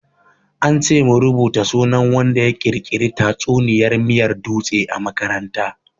An ce mu rubuta sunan wanda ya ƙirƙiri tatsuniyar miyar dutse a makaranta.